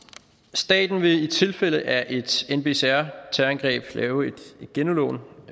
staten vil i tilfælde af et nbcr terrorangreb lavet et genudlån